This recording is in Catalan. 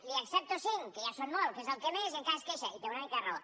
li’n accepto cinc que ja és molt que és el que més i encara es queixa i té una mica de raó